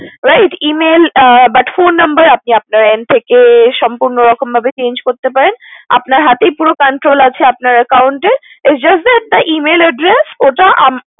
Right but phone number আপনি আপনার end থেকে সম্পূর্নরকম ভাবে change করতে পারেন আপনার হাতেই পুরো controll আছে আপনার Account এর just Email address ওটা